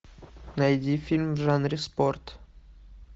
найди фильм в жанре спорт